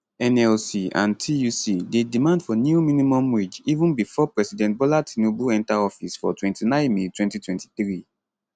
nlc and tuc dey demand for new minimum wage even bifor president bola tinubu enta office for 29 may 2023